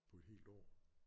På et helt år